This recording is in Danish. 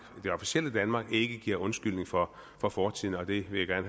det officielle danmark ikke giver undskyldning for for fortiden og det vil jeg